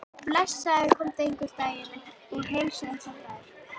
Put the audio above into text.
Já, blessaður komdu einhvern daginn og heilsaðu upp á þær.